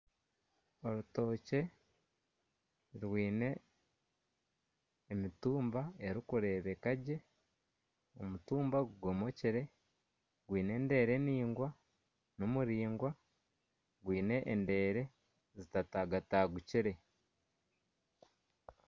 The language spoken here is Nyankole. Orutokye rwine emitumba erikureebeka gye, omutumba gugomokire gwine endeere naingwa, nimuraingwa gwine endeere zitatagatagukire